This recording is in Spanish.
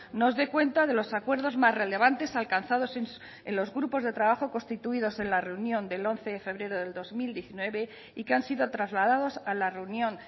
nos dé cuenta de los acuerdos más relevantes alcanzados en los grupos de trabajo constituidos en la reunión del once de febrero del dos mil diecinueve y que han sido trasladados a la reunión